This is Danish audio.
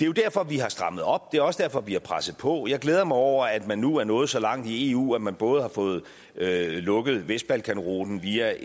jo derfor vi har strammet op det er også derfor vi har presset på jeg glæder mig over at man nu er nået så langt i eu at man både har fået lukket i vestbalkanruten via